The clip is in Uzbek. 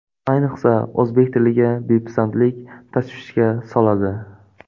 Ayniqsa, o‘zbek tiliga bepisandlik tashvishga soladi.